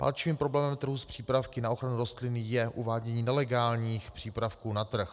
Palčivým problémem trhu s přípravky na ochranu rostlin je uvádění nelegálních přípravků na trh.